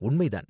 உண்மை தான்.